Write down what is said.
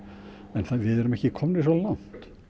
en við erum ekki komnir svo langt